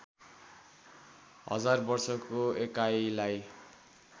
हजार वर्षको एकाइलाई